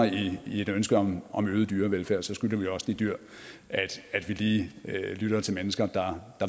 i et ønske om om øget dyrevelfærd skylder vi også de dyr at vi lige lytter til mennesker der